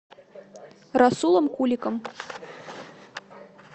расулом куликом